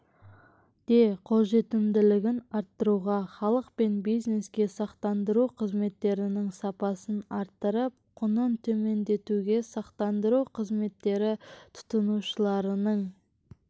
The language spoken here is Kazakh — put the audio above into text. де қолжетімділігін арттыруға халық пен бизнеске сақтандыру қызметтерінің сапасын арттырып құнын төмендетуге сақтандыру қызметтері тұтынушыларының